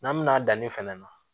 N'an mɛna danni fɛnɛ na